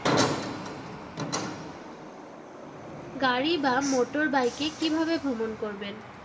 গাড়ি বা motorbike কিভাবে ভ্রমণ করবেন